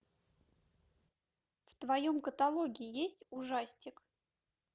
в твоем каталоге есть ужастик